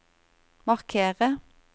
markere